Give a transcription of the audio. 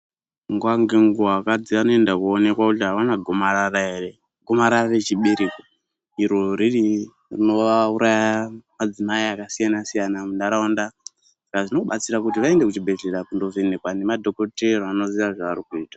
Nguwa ngenguwa akadzi anoenda kunoonekwa kuti ava gomarara ere kumarara rechibereko iri riri rinovauraya madzimai akasiyana siyana munharaunda saka zvinobatsira kuti vaende kuchibhehlera vanovhenekwa nemadhokoteya anoziya zvavarikuita.